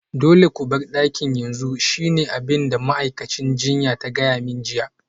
Dole ku bar dakin yanzu shine abin da ma'aikacin jinya ta gaya mani jiya